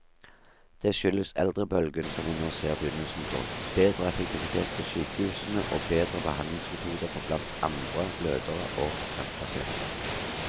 Det skyldes eldrebølgen som vi nå ser begynnelsen på, bedre effektivitet på sykehusene og bedre behandlingsmetoder for blant andre blødere og kreftpasienter.